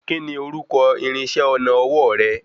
Kíni orúkọ irinṣẹ́ ọnà ọwọ́ rẹ?